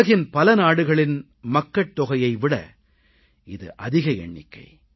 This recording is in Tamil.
உலகின் பல நாடுகளின் மக்கட் தொகையை விட இது அதிக எண்ணிக்கை